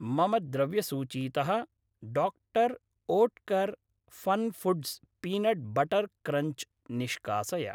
मम द्रव्यसूचीतः doctor Oetker FunFoods peanut butter crunch निष्कासय।